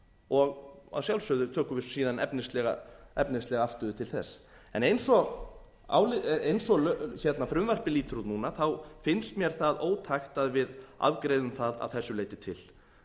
og að sjálfsögðu tökum við síðan efnislega afstöðu til þess en eins og frumvarpið lítur út núna þá finnst mér það ótækt að við afgreiðum það að þessu leyti til